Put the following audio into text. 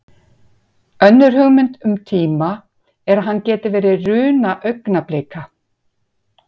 Önnur hugmynd um tíma er að hann geti verið runa augnablika.